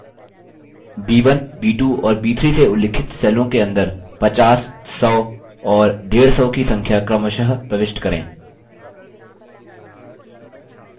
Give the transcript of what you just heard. b1 b2 और b3 से उल्लिखित सेलों के अंदर 50 100 और 150 की संख्या क्रमशः प्रविष्ट करें